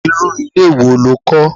Irú ilé wo lo kó?